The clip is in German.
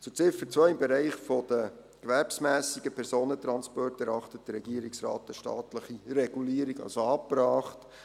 Zu Ziffer 2: Im Bereich der gewerbsmässigen Personentransporte erachtet der Regierungsrat eine staatliche Regulierung als angebracht.